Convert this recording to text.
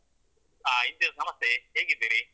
ಆ ಇಮ್ತಿಯಾಸ್ ನಮಸ್ತೇ ಹೇಗಿದ್ದೀರಿ?